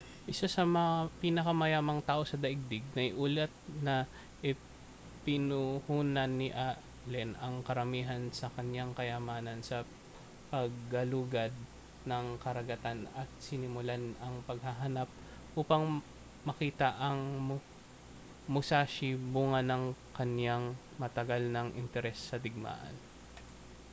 isa sa mga pinakamayamang tao sa daigdig naiulat na ipinuhunan ni allen ang karamihan sa kaniyang kayamanan sa paggalugad ng karagatan at sinimulan ang paghahanap upang makita ang musashi bunga ng kaniyang matagal nang interes sa digmaan